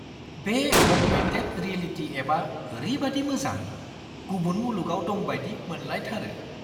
बे augmented reality एपआ ओरैबायदि मोजां! गुबुन मुलुगआव दं बायदि मोनलायथारो!